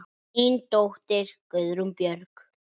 Þín dóttir, Guðrún Björg.